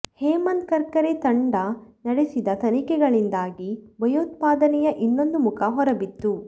ಹೇಮಂತ್ ಕರ್ಕರೆ ತಂಡ ನಡೆಸಿದ ತನಿಖೆಗಳಿಂದಾಗಿ ಭಯೋತ್ಪಾದನೆಯ ಇನ್ನೊಂದು ಮುಖ ಹೊರ ಬಿತ್ತು